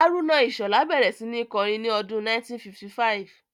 Haruna Ishola bẹ̀rẹ̀ sí ní kọrin ní ọdún 1955